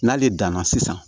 N'ale danna sisan